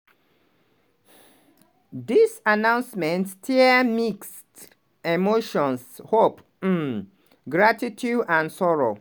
"dis announcement stir mixed emotions - hope um gratitude and sorrow.